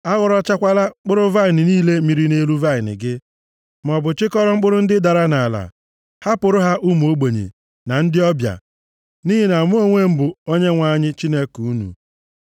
A ghọrọchakwala mkpụrụ vaịnị niile mịrị nʼelu vaịnị gị, maọbụ chịkọrọ mkpụrụ ndị dara nʼala. Hapụrụ ha ụmụ ogbenye na ndị ọbịa, nʼihi na mụ onwe m bụ Onyenwe anyị Chineke unu.